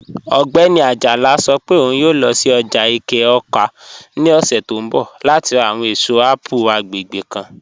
Ogbẹni Ajala sọ́ pẹ̀ ọ̀un yòò lọ́ sí ọ́jà Ẹ̀ké-Awka ni ọ̀ṣẹ̀ tó nbọ̀ láti rá àwọn èṣọ̀ apple agbẹ́gbẹ́ kan.